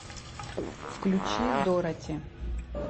включи дороти